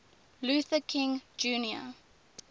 luther king jr